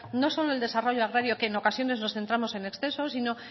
no solo el desarrollo agrario que en ocasiones nos centramos en exceso sino